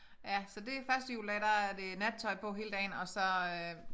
Ja så det første juledag der er det nattøj på hele dagen og så øh